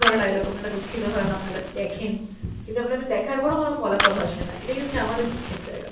ধরা dialogue আপনারা দুঃখিত হন আপনারা, দেখেন। কিন্তু আপনাদের দেখার পরেও কোনো ফলাফল আসেনা, এটাই হচ্ছে আমাদের দুঃখের জায়গা।